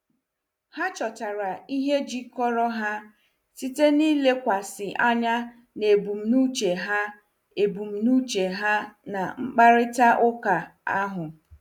Ha chọtara ihe jikọrọ ha site n'ịlekwasị anya na ebumnuche ha ebumnuche ha na mkparịta ụka ahụ.